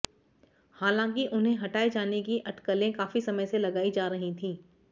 हालांकि उन्हें हटाए जाने की अटकलें काफ़ी समय से लगाई जा रही थीं